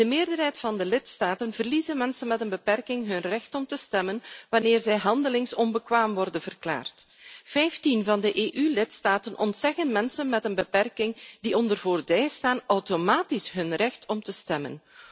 In de meerderheid van de lidstaten verliezen mensen met een beperking hun recht om te stemmen wanneer zij handelingsonbekwaam worden verklaard. Vijftien EU lidstaten ontzeggen mensen met een beperking die onder voogdij staan, automatisch hun recht om te stemmen.